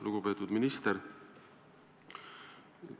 Lugupeetud minister!